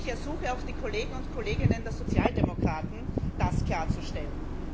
Ich ersuche auch die Kolleginnen und Kollegen der Sozialdemokraten, das klarzustellen.